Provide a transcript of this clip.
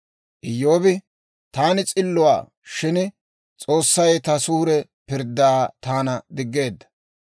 «Iyyoobi, ‹Taani s'illuwaa; shin S'oossay ta suure pirddaa taana diggeedda.